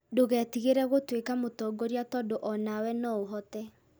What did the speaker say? Ndũgetigĩre gũtuĩka mũtongoria tondũ o nawe no ũhote